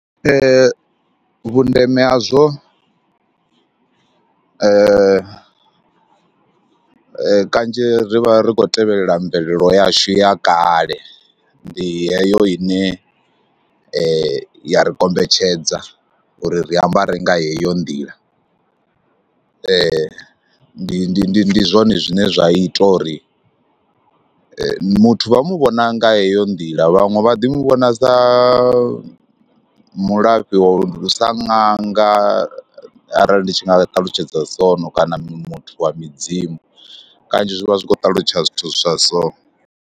Vhundeme hazwo kanzhi ri vha ri khou tevhelela mvelelo yashu ya kale, ndi heyo ine ya ri kombetshedza uri ri ambare nga heyo nḓila, ndi ndi ndi ndi zwone zwine zwa ita uri muthu vha mu vhona nga heyo nḓila vhaṅwe vha ḓi mu vhona sa mulafhi wa u, sa ṅanga arali ndi tshi nga talutshedza soo kana muthu wa midzimu, kanzhi zwi vha zwi khou ṱalutshedza zwithu zwa so.